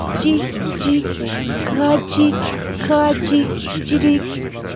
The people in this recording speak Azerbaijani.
Cik, cik, qacik, qacik, cirik.